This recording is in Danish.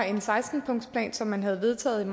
en seksten punktsplan som man havde vedtaget